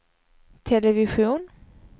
television